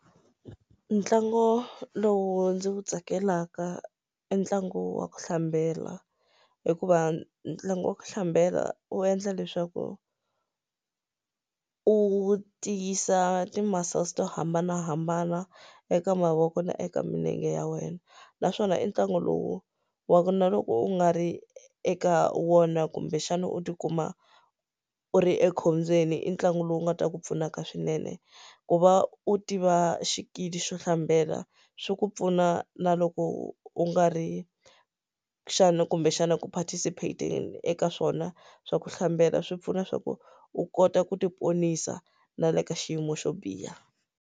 Ntlangu lowu ndzi wu tsakelaka i ntlangu wa ku hlambela hikuva ntlangu wa ku hlambela wu endla leswaku u tiyisa ti muscles to hambanahambana eka mavoko na eka milenge ya wena naswona i ntlangu lowu wa ku na loko u nga ri eka wona kumbexana u ti kuma u u ri ekhombyeni i ntlangu lowu nga ta ku pfunaka swinene ku va u tiva xikili xo hlambela swi ku pfuna na loko u nga ri xana kumbexana ku participate-eni eka swona swa ku hlambela swi pfuna swa ku u kota ku ti ponisa na le ka xiyimo xo biha.